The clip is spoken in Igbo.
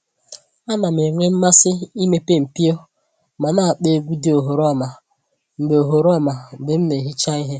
A na m-enwe mmasị imepe mpio ma na-akpọ egwu dị oghoroma mgbe oghoroma mgbe m na-ehicha ihe